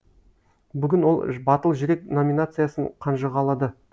бүгін ол батыл жүрек номинациясын қанжығалады